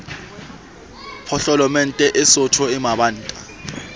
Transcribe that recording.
potlolomente e sootho e mabanta